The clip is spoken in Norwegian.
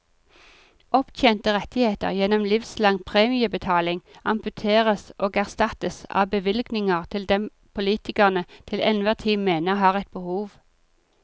Opptjente rettigheter gjennom livslang premiebetaling amputeres og erstattes av bevilgninger til dem politikerne til enhver tid mener har et behov.